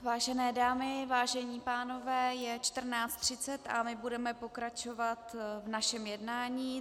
Vážené dámy, vážení pánové, je 14.30 a my budeme pokračovat v našem jednání.